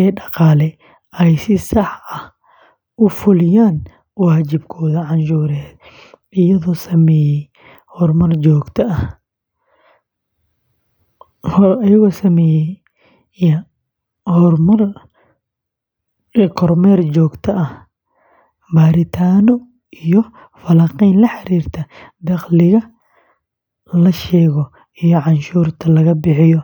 ee dhaqaale ay si sax ah u fuliyaan waajibaadkooda canshuureed, iyadoo samaysa kormeer joogto ah, baaritaanno iyo falanqeyn la xiriirta dakhliga la sheego iyo canshuuraha laga bixiyo;